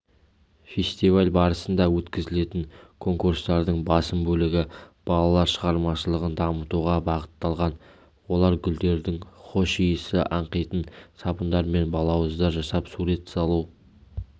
фестиваль барысында өткізілетін конкурстардың басым бөлігі балалар шығармашылығын дамытуға бағытталған олар гүлдердің хош иісі аңқитын сабындар мен балауыздар жасап сурет салу